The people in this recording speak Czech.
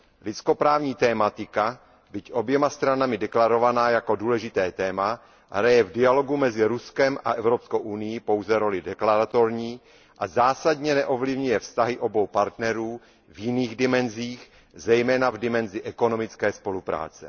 Lidskoprávní tematika, byť oběma stranami deklarovaná jako důležité téma, hraje v dialogu mezi Ruskem a Evropskou unií pouze roli deklaratorní a zásadně neovlivňuje vztahy obou partnerů v jiných dimenzích, zejména v dimenzi ekonomické spolupráce.